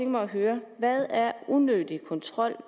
mig at høre hvad er unødig kontrol